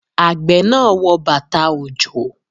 Àgbẹ̀ náà wọ bàtà-òjò.